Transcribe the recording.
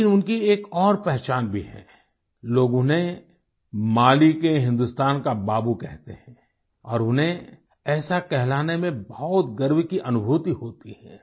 लेकिन उनकी एक और पहचान भी है लोग उन्हें माली के हिंदुस्तान का बाबू कहते हैं और उन्हें ऐसा कहलाने में बहुत गर्व की अनुभूति होती है